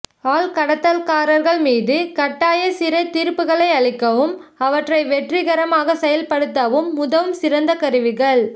ஆள் கடத்தல்காரர்கள் மீது கட்டாய சிறை தீர்ப்புகளை அளிக்கவும் அவற்றை வெற்றிகரமாக செயல்படுத்தவும் உதவும் சிறந்த கருவிகள்